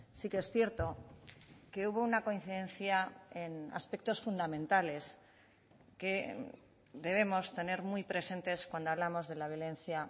sí que es cierto que hubo una coincidencia en aspectos fundamentales que debemos tener muy presentes cuando hablamos de la violencia